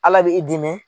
Ala bɛ i dimi